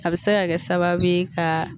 A be se ka kɛ sabau ye ka